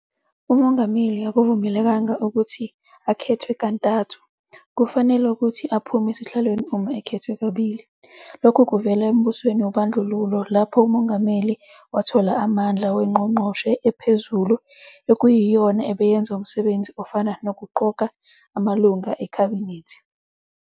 UMongameli akavumelekanga ukuthi akhethwe kantathu, kufanale ukuthi aphume esihlalweni uma ekhethwe kabili. Lokhu kuvela embusweni wobandlululo lapho UMongameli wathola amandla weNgqongqoshe ePhezulu ekuyiyona ebeyenza umsebenzi ofana nokuqoka amalunga eKhabinethi.